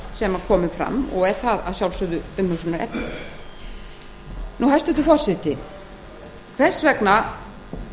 að ekkert var gert með þær viðvaranir sem komu fram hæstvirtur forseti hvers vegna